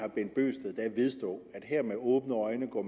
vedstå at man her med åbne øjne går